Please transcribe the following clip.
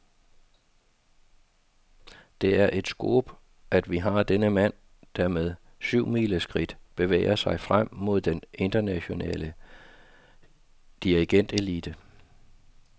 Det er et scoop, at vi har denne mand, der med syvmileskridt bevæger sig frem mod den internationale dirigentelite.